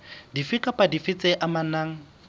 dife kapa dife tse amanang